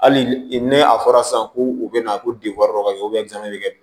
Hali ni a fɔra sisan ko u bɛ na ko ka kɛ